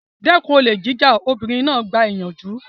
Dẹ́kun olè jíjà! Obìnrin náà gba ìyànjú.